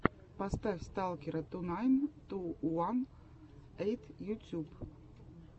поставь сталкера ту найн ту уан эйт ютьюб